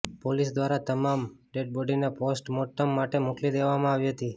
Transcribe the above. police દ્વારા તમામ ડેડબોડીને પોસ્ટ મોર્ટમ માટે મોકલી દેવામાં આવી હતી